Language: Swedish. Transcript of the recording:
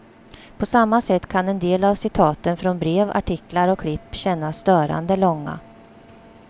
På samma sätt kan en del av citaten från brev, artiklar och klipp kännas störande långa.